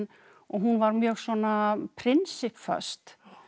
og hún var mjög svona prinsipp föst